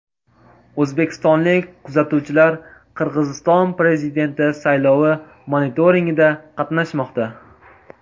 O‘zbekistonlik kuzatuvchilar Qirg‘iziston prezidenti saylovi monitoringida qatnashmoqda.